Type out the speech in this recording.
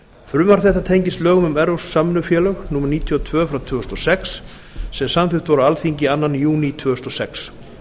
frumvarp þetta tengist lögum um evrópsk samvinnufélög númer níutíu og tvö tvö þúsund og sex sem samþykkt voru á alþingi annan júní tvö þúsund og sex